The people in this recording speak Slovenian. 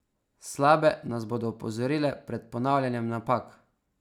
Slabe nas bodo opozorile pred ponavljanjem napak.